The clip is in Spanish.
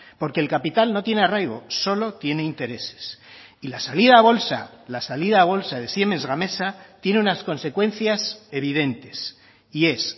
porque el capital no tiene arraigo solo tiene intereses y la salida a bolsa la salida a bolsa de siemens gamesa tiene unas consecuencias evidentes y es